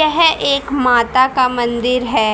यह एक माता का मंदिर है